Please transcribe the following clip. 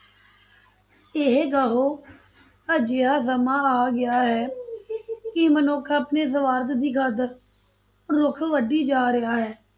ਇਹ ਕਿਹੋ ਅਜਿਹਾ ਸਮਾਂ ਆ ਗਿਆ ਹੈ ਕਿ ਮਨੁੱਖ ਆਪਣੇ ਸਵਾਰਥ ਦੀ ਖਾਤਰ ਰੁੱਖ ਵੱਢੀ ਜਾ ਰਿਹਾ ਹੈ,